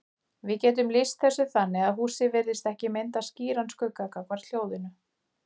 Við getum lýst þessu þannig að húsið virðist ekki mynda skýran skugga gagnvart hljóðinu.